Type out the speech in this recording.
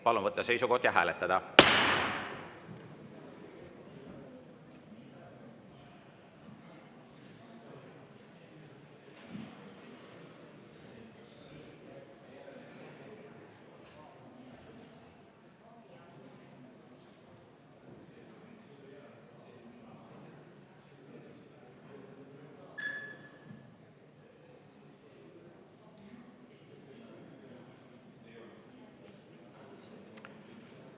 Palun võtta seisukoht ja hääletada!